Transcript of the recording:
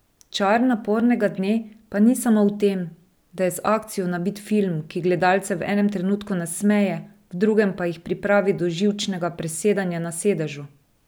Čar Napornega dne pa ni samo v tem, da je z akcijo nabit film, ki gledalce v enem trenutku nasmeje, v drugem pa jih pripravi do živčnega presedanja na sedežu.